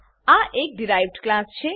આ એક derived class છે